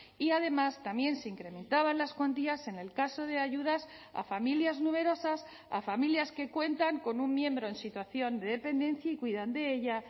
y además también se incrementaban las cuantías en el caso de ayudas a familias numerosas a familias que cuentan con un miembro en situación de dependencia y cuidan de ella